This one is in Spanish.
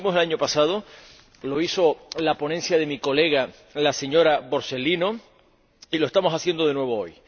Lo hicimos el año pasado —lo hizo la ponencia de mi colega, la señora Borsellino— y lo estamos haciendo de nuevo hoy.